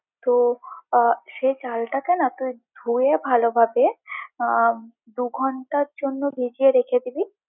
তো আহ এই চালটাকে না তুই ধুয়ে ভালোভাবে আহ দু-ঘন্টার জন্য ভিজিয়ে রেখে দিবি।